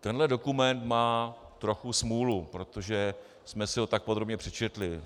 Tenhle dokument má trochu smůlu, protože jsme si ho tak podrobně přečetli.